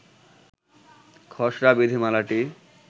খসড়া বিধিমালাটি